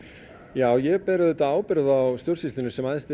já ég ber auðvitað ábyrgð á stjórnsýslunni sem æðsti